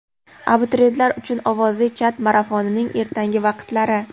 Abituriyentlar uchun ovozli chat marafonining ertangi vaqtlari:.